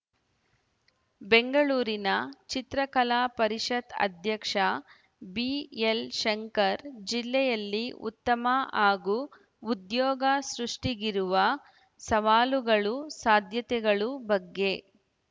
ಬೆಂಗಳೂರಿನ ಚಿತ್ರಕಲಾ ಪರಿಷತ್‌ ಅಧ್ಯಕ್ಷ ಬಿಎಲ್‌ ಶಂಕರ್‌ ಜಿಲ್ಲೆಯಲ್ಲಿ ಉದ್ಯಮ ಹಾಗೂ ಉದ್ಯೋಗ ಸೃಷ್ಠಿಗಿರುವ ಸವಾಲುಗಳುಸಾಧ್ಯತೆಗಳು ಬಗ್ಗೆ